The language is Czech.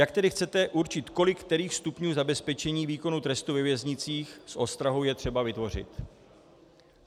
Jak tedy chcete určit, kolik kterých stupňů zabezpečení výkonu trestu ve věznicích s ostrahou je třeba vytvořit?